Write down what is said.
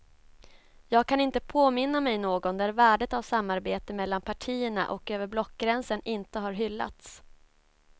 Jag kan inte påminna mig någon där värdet av samarbete mellan partierna och över blockgränsen inte har hyllats.